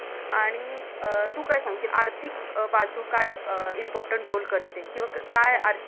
आणि अं तु काय सांगशील आर्थिक बाजू काय Important Role करते किंवा काय